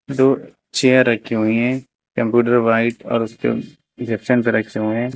दो चेयर रखी हुई हैं कंप्यूटर व्हाइट और उसके पे रखे हुए हैं।